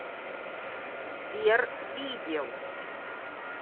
сбер видел